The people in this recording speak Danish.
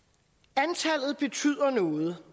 antallet betyder noget